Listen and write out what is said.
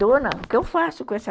Dona, o que eu faço com essa...